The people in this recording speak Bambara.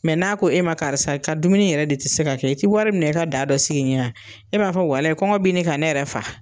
n'a ko e ma karisa ka dumuni yɛrɛ de te se ka kɛ, i tɛ wari minɛ i ka da dɔ sigi n ye wa? E b'a walaye kɔngɔ bi ɲini ka ne yɛrɛ faga.